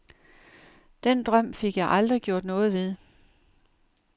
Den drøm fik jeg aldrig gjort noget ved.